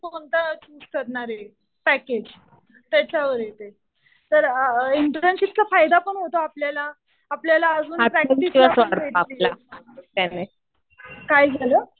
कि आपण कोणतं करणार आहे पॅकेज. त्याच्यावर आहे ते. तर इंटर्नशिपचा फायदा पण होतो आपल्याला. आपल्याला अजून प्रॅक्टिस भेटते. काय झालं?